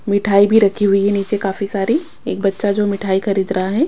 मिठाई भी रखी हुई है नीचे काफी सारी एक बच्चा जो मिठाई खरीद रहा हैं।